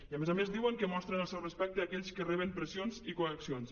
i a més a més diuen que mostren el seu respecte a aquells que reben pressions i coaccions